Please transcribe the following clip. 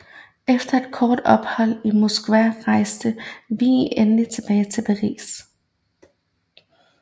Efter et kort ophold i Moskva rejste Vigée endelig tilbage til Paris